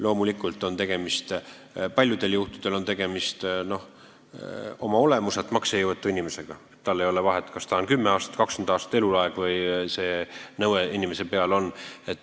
Loomulikult on paljudel juhtudel tegemist oma olemuselt maksejõuetu inimesega – tal ei ole vahet, kas nõue kehtib kümme aastat, 20 aastat või eluaeg.